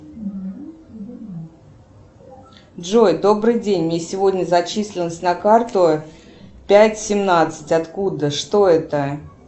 джой добрый день мне сегодня зачислилось на карту пять семнадцать откуда что это